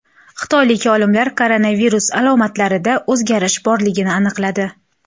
Xitoylik olimlar koronavirus alomatlarida o‘zgarish borligini aniqladi.